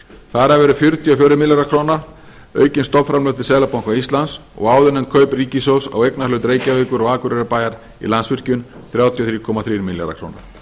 þar af eru fjörutíu og fjórir milljarðar króna aukin stofnframlög til seðlabanka íslands og áðurnefnd kaup ríkissjóðs á eignarhlut reykjavíkur og akureyrarbæjar í landsvirkjun þrjátíu og þrjú komma þrír milljarðar króna